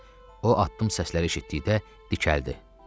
O addım səsləri eşitdikdə dikəldi.